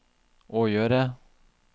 å gjøre